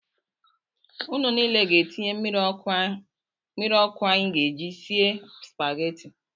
Nnu niile ga-etinye mmiri ọkụ anyị ji esi Spageti